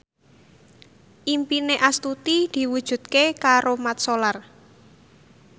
impine Astuti diwujudke karo Mat Solar